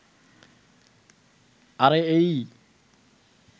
আরে এইইই.